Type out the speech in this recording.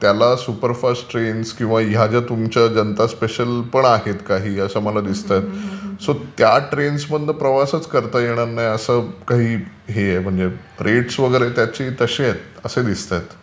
त्याला superfast trains किंवा या ज्या तुमच्या जनता स्पेशल पण आहेत काही असं मला दिसतंय सो त्या ट्रेन्समधून प्रवासच करता येणार नाही असं काही हे आहे म्हणजे रेट्स वगैरे त्याचे तशे आहेत, असे दिसतायत.